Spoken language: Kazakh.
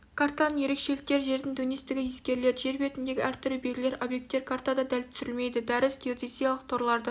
картаның ерекшеліктері жердің дөнестігі ескеріледі жер бетіндегі әртүрлі белгілер объекттер картада дәл түсірілмейді дәріс геодезиялық торларды